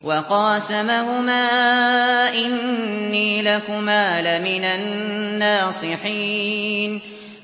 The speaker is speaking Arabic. وَقَاسَمَهُمَا إِنِّي لَكُمَا لَمِنَ النَّاصِحِينَ